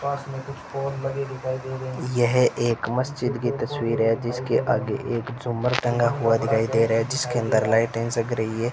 यह एक मस्जिद की तस्वीर है जिसके आगे एक झूमर टंगा हुआ दिखाई दे रहा है जिसके अंदर लाइटें जग रही है।